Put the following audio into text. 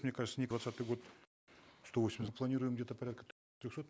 мне кажется не двадцатый год сто восемьдесят планируем где то порядка трехсот